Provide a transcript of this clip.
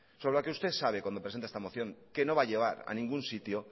sobre la que usted sabe cuando presenta esta moción que no va a llevar a ningún sitio